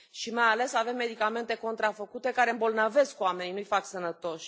Și, mai ales, avem medicamente contrafăcute care îmbolnăvesc oamenii, nu i fac sănătoși.